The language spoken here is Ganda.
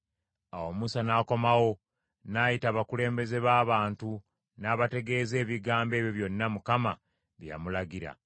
Awo Musa n’akomawo, n’ayita abakulembeze b’abantu n’abategeeza ebigambo ebyo byonna Mukama bye yamulagira.